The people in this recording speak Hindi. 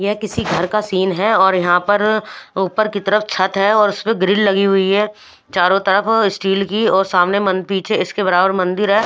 यह किसी घर का सीन है और यहां पर ऊपर की तरफ छत है और उस पर ग्रिल लगी हुई है चारों तरफ स्टील की और सामने पीछे इसके बराबर मंदिर है।